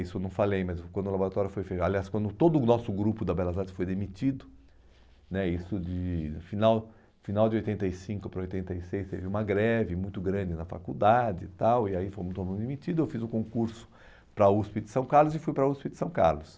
Isso eu não falei, mas quando o laboratório foi fe, aliás, quando todo o nosso grupo da Belas Artes foi demitido né, isso de final final de oitenta e cinco para oitenta e seis, teve uma greve muito grande na faculdade e tal, e aí fomos todos demitidos, eu fiz o concurso para a USP de São Carlos e fui para a USP de São Carlos.